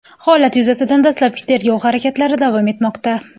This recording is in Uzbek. Holat yuzasidan dastlabki tergov harakatlari davom etmoqda.